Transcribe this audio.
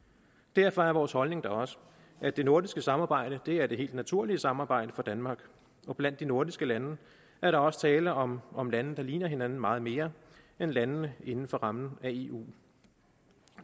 derfor er vores holdning da også at det nordiske samarbejde er det helt naturlige samarbejde for danmark og blandt de nordiske lande er der også tale om om lande der ligner hinanden meget mere end landene inden for rammen af eu